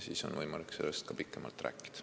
Siis on võimalik sellest pikemalt rääkida.